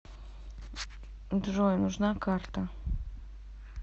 джой нужна карта